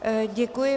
Děkuji.